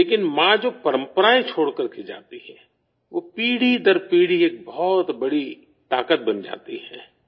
لیکن ماں جو روایات چھوڑ کر جاتی ہیں، وہ نسل در نسل، ایک بہت بڑی طاقت بن جاتی ہیں